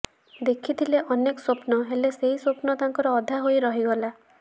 ଦେଖିଥିଲେ ଅନେକ ସ୍ବପ୍ନ ହେଲେ ସେଇ ସ୍ବପ୍ନ ତାଙ୍କର ଅଧା ହୋଇ ରହିଗଲା